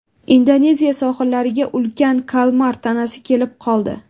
Indoneziya sohillariga ulkan kalmar tanasi kelib qoldi.